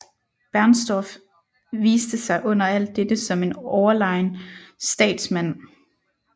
Bernstorff viste sig under alt dette som en overlegen statsmand